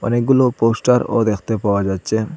অনেকগুলো পোস্টারও দেখতে পাওয়া যাচ্চে।